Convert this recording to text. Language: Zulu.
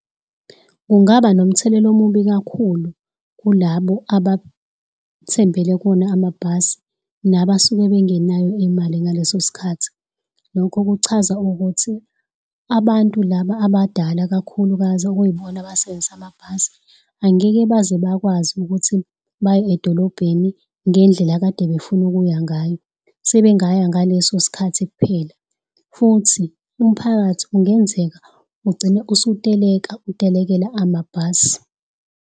Kungaba nomthelela omubi kakhulu kulabo abathembele kuwona amabhasi nabasuke bengenayo imali ngaleso sikhathi. Lokho kuchaza ukuthi abantu laba abadala kakhulukazi okuyibona abasebenzisa amabhasi angeke baze bakwazi ukuthi baye edolobheni ngendlela ekade beyifuna ukuya ngayo, sebengaya ngaleso sikhathi kuphela futhi umphakathi kungenzeka ugcine usuteleka utelekela amabhasi.